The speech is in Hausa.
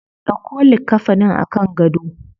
Dauko likkafanin a kan gado.